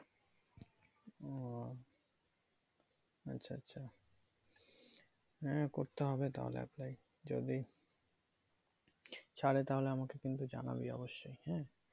ও আচ্ছা আচ্ছা হ্যাঁ করতে হবে তাহলে apply যদি ছারে তাহলে আমাকে কিন্তু জানাবি অব্যশই হ্যাঁ